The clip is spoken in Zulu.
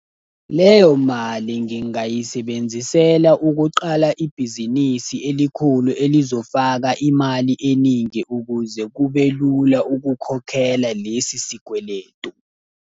Leyo mali ngingayisebenzisela ukuqala ibhizinisi elikhulu elizofaka imali eningi ukuze kube lula ukukhokhela lesi sikweletu.